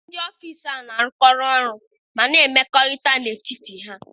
Ndị ọfịshaa ahụ na-arụkọ ọrụ ọnụ ma na-emekọ̀rị̀ta n'etiti ha